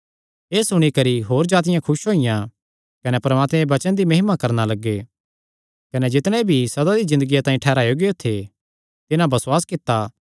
एह़ सुणी करी होर जातिआं खुस होईयां कने परमात्मे दे वचन दी महिमा करणा लग्गे कने जितणे भी सदा दी ज़िन्दगिया तांई ठैहराये गियो थे तिन्हां बसुआस कित्ता